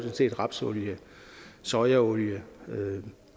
set rapsolie sojaolie